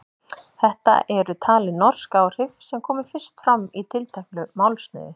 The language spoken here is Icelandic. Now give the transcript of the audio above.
Þetta eru talin norsk áhrif sem komu fyrst fram í tilteknu málsniði.